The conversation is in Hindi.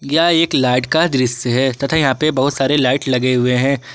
यह एक लाइट का दृश्य है तथा यहां पर बहुत सारे लाइट लगे हुए हैं।